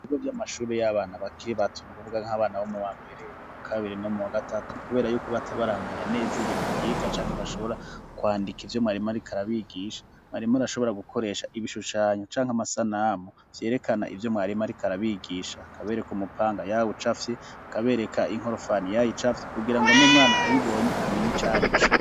Ibigo vy'amashuri y'abana bakiri bato, ni ukuvuga nk'abana bo mu wa mbere, mu wa kabiri no mu wa gatatu, kubera yuko bataba baramenya neza ibintu biga canke bashobora kwandika ivyo mwarimu ariko arabigisha. Mwarimu arashobora gukoresha ibishushanyo canke amasanamu vyerekana ivyo mwarimu ariko arabigisha, akabereka umupanga yawucafye, akabereka inkorofani yayicafye, kugira ngo n'umwana ayibonye amenye ico ar'ico.